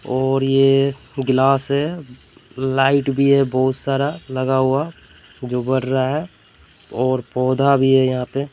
और ये गिलास है लाइट भी है बहुत सारा लगा हुआ जो बर रहा है और पौधा भी है यहां पे--